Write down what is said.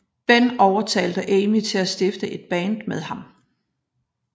Ben overtalte Amy til at stifte et band med ham